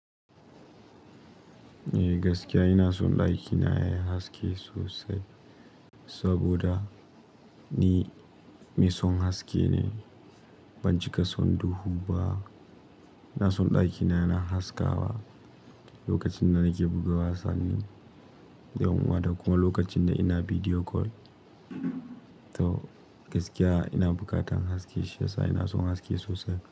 Eh gaskiya ina son ɗakina yayi haske sosai. Saboda ni mai son haske ne, ban cika son duhu ba. Ina son ɗakina yana haskawa lokacin da nake buga wasanni da kuma lokacin da ina video call. To gaskiya ina bukatan haske shiyasa ina son haske sosai.